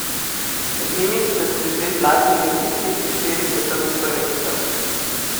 Med njimi sta tudi dve zlati olimpijski in štiri s svetovnih prvenstev.